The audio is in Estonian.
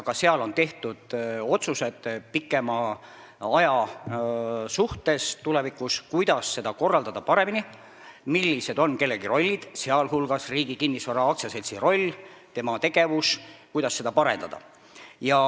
Ka seal on otsused tehtud pikema aja peale, tulevikuks, kuidas seda korraldada paremini ja millised on kellegi rollid, sh Riigi Kinnisvara AS-i roll ja tema tegevus ning kuidas seda parendada.